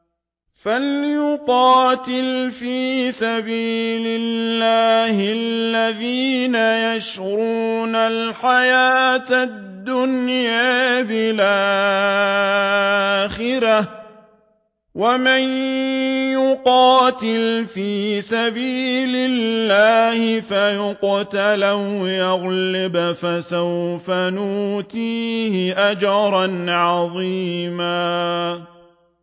۞ فَلْيُقَاتِلْ فِي سَبِيلِ اللَّهِ الَّذِينَ يَشْرُونَ الْحَيَاةَ الدُّنْيَا بِالْآخِرَةِ ۚ وَمَن يُقَاتِلْ فِي سَبِيلِ اللَّهِ فَيُقْتَلْ أَوْ يَغْلِبْ فَسَوْفَ نُؤْتِيهِ أَجْرًا عَظِيمًا